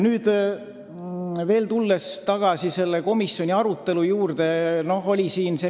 Tulles veel tagasi komisjoni arutelu juurde.